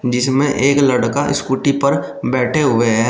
जिसमें एक लड़का स्कूटी पर बैठे हुए है।